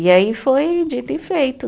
E aí foi dito e feito.